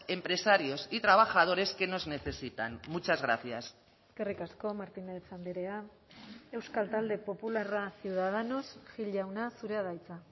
empresarios y trabajadores que nos necesitan muchas gracias eskerrik asko martínez andrea euskal talde popularra ciudadanos gil jauna zurea da hitza